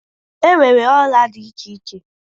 imewe Òla di iche iche